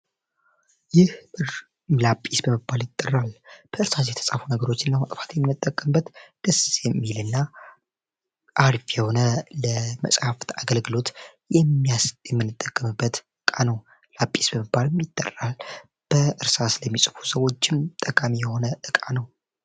ይህ ላጲስ በበባል ይጠራል በእርሳስ የተጻፉ ነገሮችን ለማጥፋት የሚነጠቅምበት ድስሴ ሚል እና አርፍ የሆነ ለመጽሐፍት አገልግሎት የሚያስጥ የሚንጠቅምበት ዕቃ ነው ላጲስ በበባር የሚይጠደራል በእርሳስ ለሚጽፉ ሰዎጅም ጠቃሚ የሆነ እቃ ነው